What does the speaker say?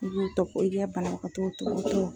I b'o tɔ ko i ka banabagatɔw tɔkɔtɔɔ